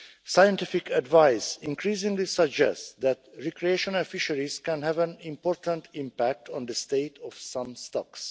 Scientific advice increasingly suggests that recreational fisheries can have an important impact on the state of some stocks.